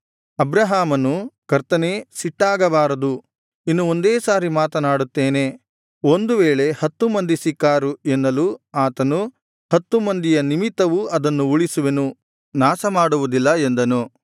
ಅಬ್ರಹಾಮನು ಕರ್ತನೇ ಸಿಟ್ಟಾಗಬಾರದು ಇನ್ನು ಒಂದೇ ಸಾರಿ ಮಾತನಾಡುತ್ತೇನೆ ಒಂದು ವೇಳೆ ಹತ್ತು ಮಂದಿ ಸಿಕ್ಕಾರು ಎನ್ನಲು ಆತನು ಹತ್ತು ಮಂದಿಯ ನಿಮಿತ್ತವೂ ಅದನ್ನು ಉಳಿಸುವೆನು ನಾಶ ಮಾಡುವುದಿಲ್ಲ ಎಂದನು